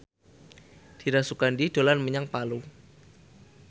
Dira Sugandi dolan menyang Palu